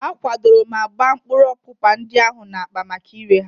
A kwadoro ma gbaa mkpụrụ ọpụpa ndị ahụ n'akpa maka ire ha.